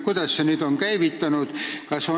Kuidas see on nüüd käivitunud?